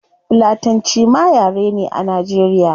Fulatanci ma yare ne a nigeria